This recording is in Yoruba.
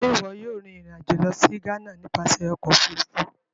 Ṣe iwọ yóò rin ìrìn-àjò lọ si Ghana nipasẹ Ọkọ ofurufu?